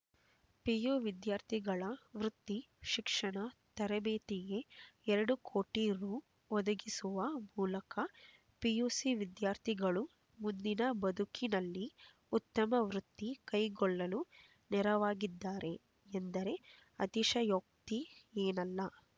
PU ವಿದ್ಯಾರ್ಥಿಗಳ ವೃತ್ತಿ ಶಿಕ್ಷಣ ತರಬೇತಿಗೆ ಎರಡು ಕೋಟಿ ರೂ ಒದಗಿಸುವ ಮೂಲಕ ಪಿಯುಸಿ ವಿದ್ಯಾರ್ಥಿಗಳು ಮುಂದಿನ ಬದುಕಿನಲ್ಲಿ ಉತ್ತಮ ವೃತ್ತಿ ಕೈಗೊಳ್ಳಲು ನೆರವಾಗಿದ್ದಾರೆ ಎಂದರೆ ಅತಿಶಯೋಕ್ತಿಯೇನಲ್ಲ